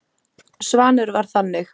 Svanur var þannig.